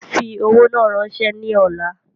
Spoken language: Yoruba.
Fi owó náà rànsẹ́ ni ọ̀la